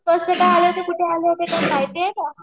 कसे आले होते कुठे आले होते काय माहितीये का?